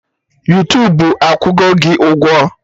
Yuutubu akwụgo gị ụgwọ?